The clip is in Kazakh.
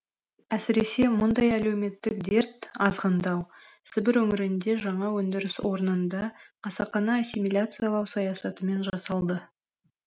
әсіресе мұндай әлеуметтік дерт азғындау сібір өңірінде жаңа өндіріс орнында қасақана ассимиляциялау саясатымен жасалды